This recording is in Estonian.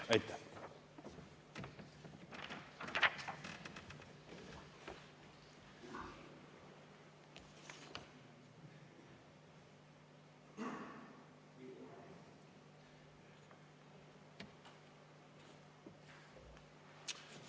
Aitäh!